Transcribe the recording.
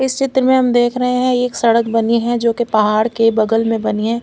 उस चित्र में हम देख रहे है ये एक सड़क बनी है जो के पाहड़ के बगल में बनी है।